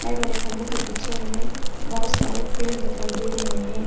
Side वाले खंभों के पीछे हमें बहुत सारे पेड़ दिखाई दे रहे हैं।